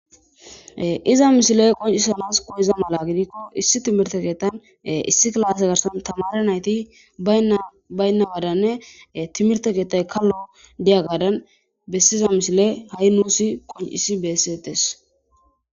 iza misile qoncisanas koyiza mala gidikko issi timirte keetan issi klaase garsan tamara nayti baynna wadanne timirte keettay kallo diya gaadan bessiza misile ha7i nuusi qoncisi bessettes